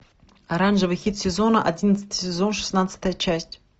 оранжевый хит сезона одиннадцатый сезон шестнадцатая часть